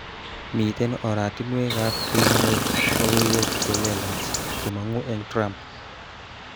Miten oratinkekab kinyor logoiwek chelelach chemongu eng Trump